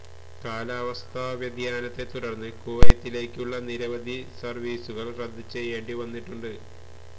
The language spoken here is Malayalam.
കാലാവസ്ഥാ വ്യതിയാനത്തെ തുടര്ന്ന് കുവൈത്തിലേക്കുള്ള നിരവധി സര്വീസുകള് റദ്ദ് ചെയ്യേണ്ടി വന്നിട്ടുണ്ട്